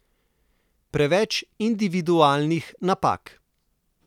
Preveč individualnih napak.